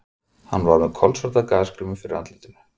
Hann var með kolsvarta gasgrímu fyrir andlitinu.